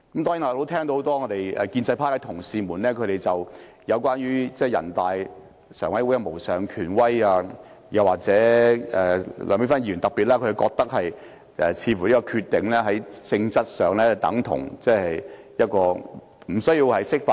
當然，我聽到很多建制派同事在發言中提及全國人民代表大會常務委員會的無上權威，特別是梁美芬議員認為人大常委會的決定在性質上已達法律效果，無需釋法。